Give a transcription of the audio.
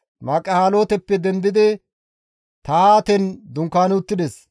Mahalooteppe dendidi Tahaaten dunkaani uttides.